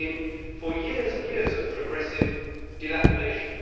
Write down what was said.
We could be in for years and years of progressive dilapidation.